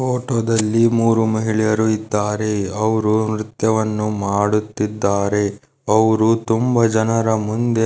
ಫೋಟೋದಲ್ಲಿ ಮೂರು ಮಹಿಳೆಯರು ಇದ್ದರೆ. ಅವರು ನೃತ್ಯವನ್ನು ಮಾಡುತ್ತಿದ್ದಾರೆ. ಅವರು ತುಂಬಾ ಜನರ ಮುಂದೆ